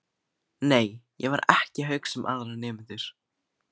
Nei, ég var ekki að hugsa um aðra nemendur.